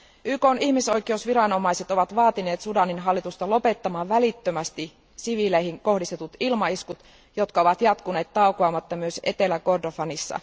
YKn ihmisoikeusviranomaiset ovat vaatineet Sudanin hallitusta lopettamaan välittömästi siviileihin kohdistetut ilmaiskut, jotka ovat jatkuneet taukoamatta myös Etelä Kordofanissa.